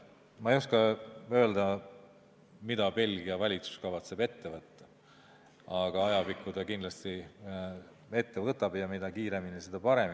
Ma ei oska öelda, mida Belgia valitsus kavatseb ette võtta, aga ajapikku ta kindlasti midagi ette võtab ja mida kiiremini, seda parem.